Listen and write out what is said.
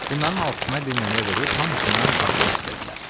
Bunların altısına bir nömrə verib hamısından başpurt istədilər.